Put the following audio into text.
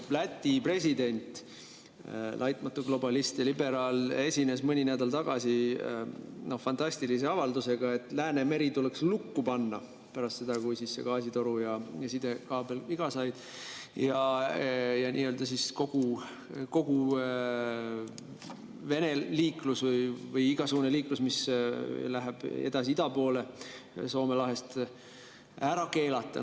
Läti president, laitmatu globalist ja liberaal, esines mõni nädal tagasi fantastilise avaldusega, et Läänemeri tuleks lukku panna – pärast seda, kui see gaasitoru ja sidekaabel viga said – ja kogu Vene liiklus või igasugune liiklus, mis läheb Soome lahest edasi ida poole, ära keelata.